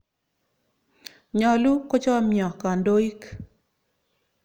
Nyalu kochomyo kandoik.